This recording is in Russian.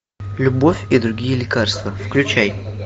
любовь и другие лекарства включай